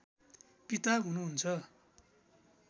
पिता हुनुहुन्छ